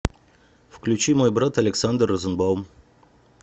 включи мой брат александр розенбаум